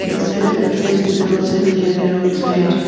The setup appears to be outside near a roadside.